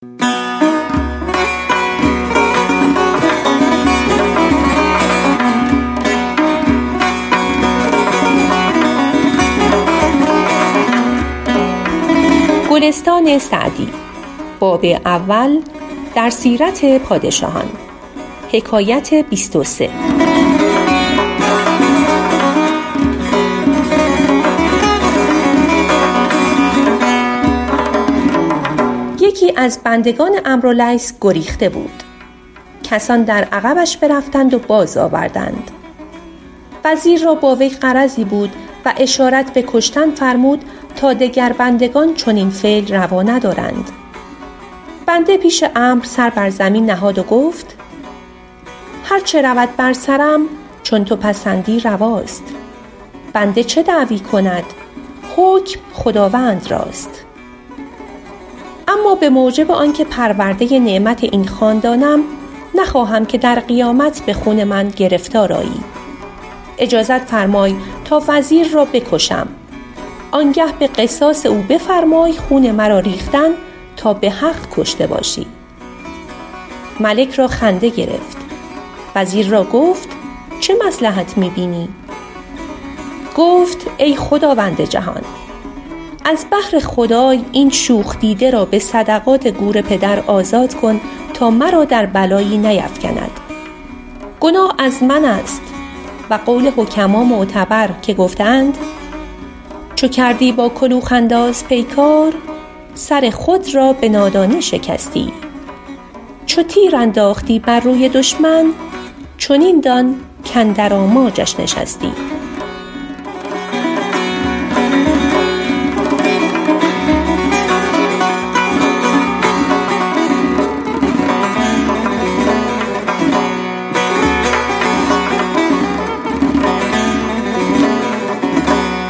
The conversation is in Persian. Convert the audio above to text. یکی از بندگان عمرو لیث گریخته بود کسان در عقبش برفتند و باز آوردند وزیر را با وی غرضی بود و اشارت به کشتن فرمود تا دگر بندگان چنین فعل روا ندارند بنده پیش عمرو سر بر زمین نهاد و گفت هر چه رود بر سرم چون تو پسندی رواست بنده چه دعوی کند حکم خداوند راست اما به موجب آن که پرورده نعمت این خاندانم نخواهم که در قیامت به خون من گرفتار آیی اجازت فرمای تا وزیر را بکشم آن گه به قصاص او بفرمای خون مرا ریختن تا به حق کشته باشی ملک را خنده گرفت وزیر را گفت چه مصلحت می بینی گفت ای خداوند جهان از بهر خدای این شوخ دیده را به صدقات گور پدر آزاد کن تا مرا در بلایی نیفکند گناه از من است و قول حکما معتبر که گفته اند چو کردی با کلوخ انداز پیکار سر خود را به نادانی شکستی چو تیر انداختی بر روی دشمن چنین دان کاندر آماجش نشستی